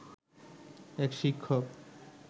এক শিক্ষক